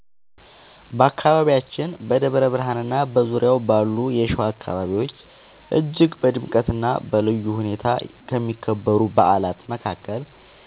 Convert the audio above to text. በአካባቢያችን በደብረ ብርሃንና በዙሪያው ባሉ የሸዋ አካባቢዎች እጅግ በድምቀትና በልዩ ሁኔታ ከሚከበሩ በዓላት መካከል